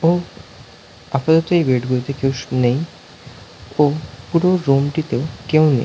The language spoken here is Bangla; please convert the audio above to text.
ও আপাতত এই বেড গুলোতে কেউ শুয়ে নেই ও পুরো রুম টিতেও কেউ নেই।